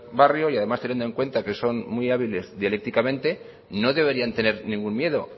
barrio y además teniendo en cuenta que son muy hábiles dialécticamente no deberían tener ningún miedo